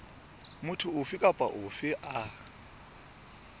motho ofe kapa ofe a